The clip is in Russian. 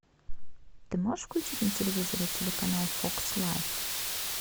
ты можешь включить на телевизоре телеканал фокс лайф